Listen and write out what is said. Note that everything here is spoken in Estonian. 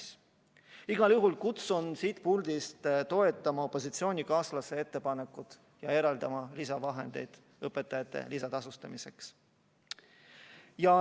Aga igal juhul ma kutsun siit puldist toetama opositsioonikaaslase ettepanekut ja eraldama lisavahendeid õpetajate lisatasustamiseks.